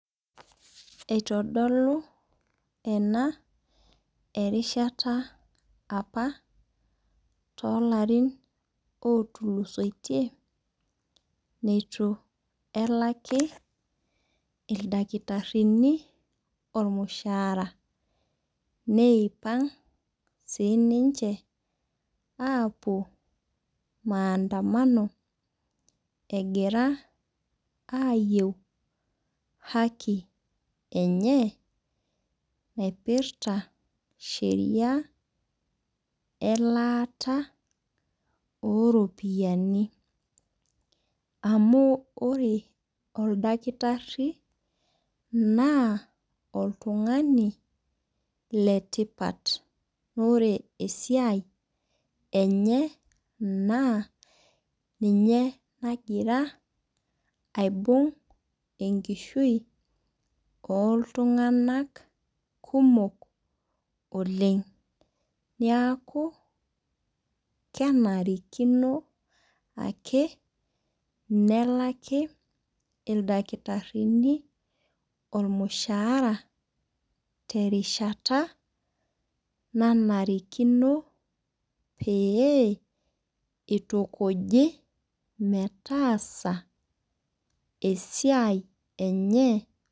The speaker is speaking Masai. Eitodolu enaa erishata apa too larin otulusoitie neitu elaki ildakitarini ormushara. Neipang' sii ninche apuo maandamano egira ayeu haki enye naipirta sheria elata oo ropiani. Amu ore oldakitari naa oltung'ani le tipat naa ore esiai enye naa ninye nagira aibung' enkishui oo iltung'ana kumok oleng'. Neeku kenarikino ake nelaki ildakitarini ormushara teriahata nanarikino pee itukuji metaasa esiai enye.